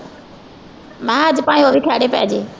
ਮੈਂ ਕਿਹਾ ਅੱਜ ਭਾਵੇਂ ਉਹ ਵੀ ਖਹਿੜੇ ਪੈ ਜਾਏ